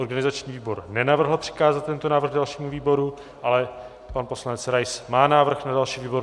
Organizační výbor nenavrhl přikázat tento návrh dalšímu výboru, ale pan poslanec Rais má návrh na další výbor.